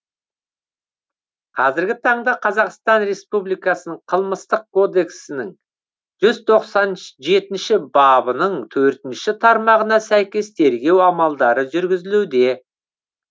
қазіргі таңда қазақстан республикасының қылмыстық кодексінің жүз тоқсан жетінші бабының төртінші тармағына сәйкес тергеу амалдары жүргізілуде